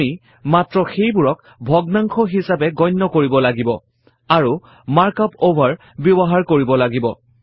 আমি মাত্ৰ সেইবোৰক ভগ্নাংশ হিছাপে গণ্য কৰিব লাগিব আৰু মাৰ্ক আপ অভাৰ ব্যৱহাৰ কৰিব লাগিব